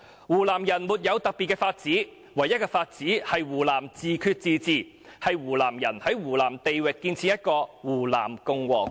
湖南人沒有別的法子，唯一的法子是湖南人自決自治，是湖南人在湖南地域建設一個'湖南共和國'。